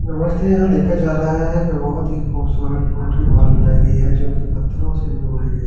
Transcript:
नमस्ते यहां देखा जा रहा है कि बहुत ही खूबसूरत पोटरी वाल बनाई गई है जो कि पत्थरों से बनवाई गई --